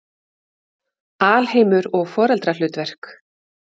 Alheimur og foreldrahlutverk